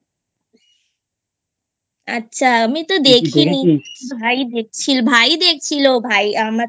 আচ্ছা আমি তো দেখিনি ভাই দেখছিল ভাই আমার